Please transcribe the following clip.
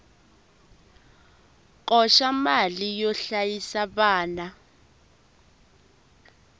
koxa mali yo hlayisa vana